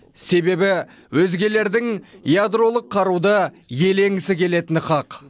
себебі өзгелердің ядролық қаруды иеленгісі келетіні хақ